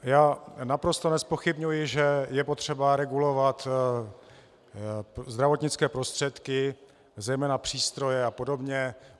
Já naprosto nezpochybňuji, že je potřeba regulovat zdravotnické prostředky, zejména přístroje a podobně.